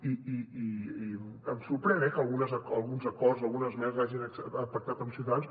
i em sorprèn eh que alguns acords algunes esmenes els hagin pactat amb ciutadans